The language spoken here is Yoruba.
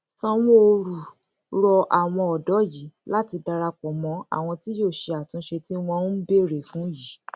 sanwóoru rọ àwọn ọdọ yìí láti darapọ mọ àwọn tí yóò ṣe àtúnṣe tí wọn ń béèrè fún yìí